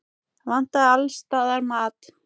Það vantaði alls staðar mat.